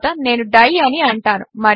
తరువాత నేను డై అని అంటాను